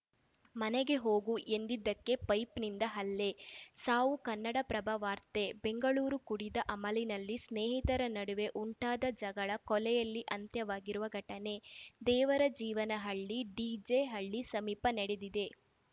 ಮನೆಗೆ ಹೋಗು ಎಂದಿದ್ದಕ್ಕೆ ಪೈಪ್‌ನಿಂದ ಹಲ್ಲೆ ಸಾವು ಕನ್ನಡಪ್ರಭ ವಾರ್ತೆ ಬೆಂಗಳೂರು ಕುಡಿದ ಅಮಲಿನಲ್ಲಿ ಸ್ನೇಹಿತರ ನಡುವೆ ಉಂಟಾದ ಜಗಳ ಕೊಲೆಯಲ್ಲಿ ಅಂತ್ಯವಾಗಿರುವ ಘಟನೆ ದೇವರಜೀವನಹಳ್ಳಿ ಡಿಜೆಹಳ್ಳಿ ಸಮೀಪ ನಡೆದಿದೆ